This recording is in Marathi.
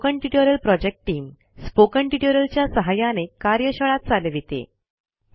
spoken tutorial project team spoken tutorial च्या सहाय्याने कार्यशाळा चालविते